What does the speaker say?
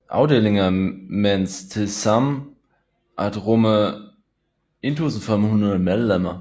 Afdelingerne mens tilsammen at rumme 1500 medlemmer